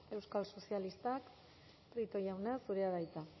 euskal sozialistak prieto jauna zurea da hitza